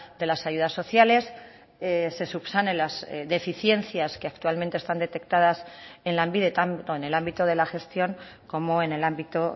de las ayudas sociales se subsane las deficiencias que actualmente están detectadas en lanbide tanto en el ámbito de la gestión como en el ámbito